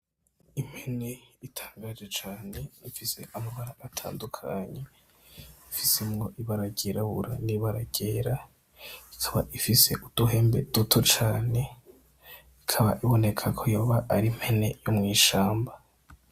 Impene itangaje cane ifise amabara atandukanye, ifisemwo ibara ryirabura n'ibara ryera, ikaba ifise uduhembe duto cane, ikaba iboneka ko yoba ari impene yo mw'ishamba.